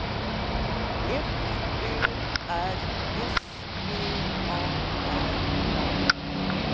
F Ö R S V A R A